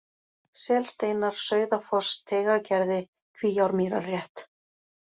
Selsteinar, Sauðafoss, Teigagerði, Kvíármýrarrétt